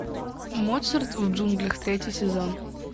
моцарт в джунглях третий сезон